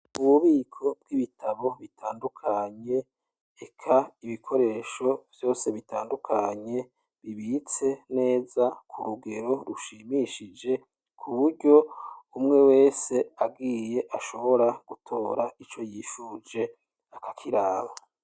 Ububuko bw'ibitabo bitandukanye eka ibikoresho vyose bitandukanye bibitse neza kurugero rushimishije kuburyo umwe wese agiye ashobora gutora ico yifuje akakiraba.